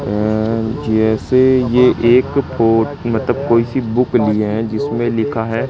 जैसे यह एक फोटो मतलब कोई सी बुक लिए हैं जिसमें लिखा है--